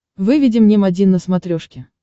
выведи мне м один на смотрешке